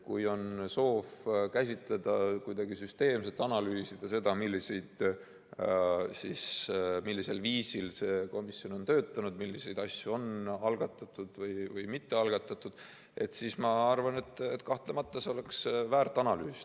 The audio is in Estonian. Kui on soov käsitleda seda kuidagi süsteemselt ja analüüsida, millisel viisil see komisjon on töötanud, milliseid asju on algatatud või mitte algatatud, siis ma arvan, et kahtlemata see oleks väärt analüüs.